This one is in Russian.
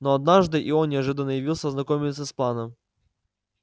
но однажды и он неожиданно явился ознакомиться с планом